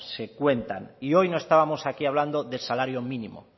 se cuentan y hoy no estábamos aquí hablando de salario mínimo